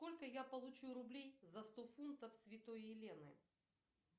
сколько я получу рублей за сто фунтов святой елены